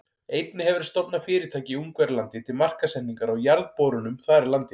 Einnig hefur verið stofnað fyrirtæki í Ungverjalandi til markaðssetningar á jarðborunum þar í landi.